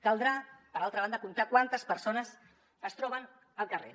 caldrà per altra banda comptar quantes persones es troben al carrer